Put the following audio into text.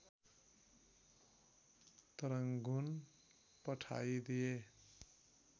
Rangoon पठाई दिए